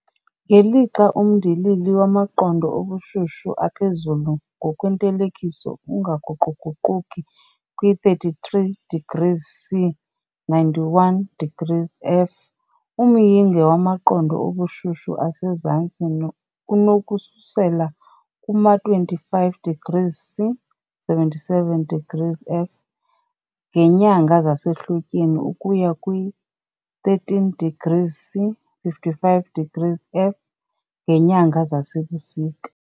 Ngelixa umndilili wamaqondo obushushu aphezulu ngokwentelekiso ungaguquguquki kwi-33 degrees C, 91 degrees F, umyinge wamaqondo obushushu asezantsi unokususela kuma-25 degrees C, 77 degees F, ngeenyanga zasehlotyeni ukuya kwi-13 degrees C, 55 degrees F, ngeenyanga zasebusika.